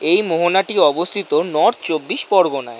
এই মোহনাটি অবস্থিত নর্থ চব্বিশ পরগনায়।